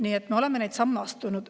Nii et me oleme samme astunud.